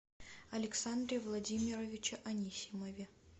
александре владимировиче анисимове